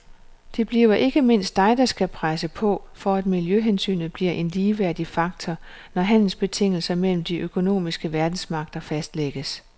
Det bliver ikke mindst dig der skal presse på, for at miljøhensynet bliver en ligeværdig faktor, når handelsbetingelser mellem de økonomiske verdensmagter fastlægges.